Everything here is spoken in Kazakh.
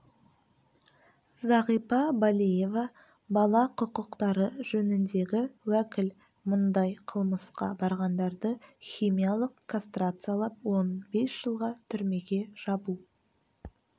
зағипа балиева бала құқықтары жөніндегі уәкіл мұндай қылмысқа барғандарды химиялық кастрациялап он бес жылға түрмеге жабу